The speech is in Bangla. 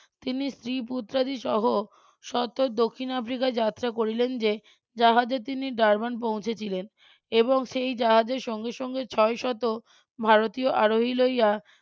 তিনি স্ত্রী পুত্রাদিসহ সত্তর দক্ষিণ আফ্রিকা যাত্রা করিলেন যে জাহাজে তিনি ডারবান পৌঁছেছিলেন এবং সেই জাহাজে সঙ্গে সঙ্গে ছয় শত ভারতীয় আরোহী লইয়া.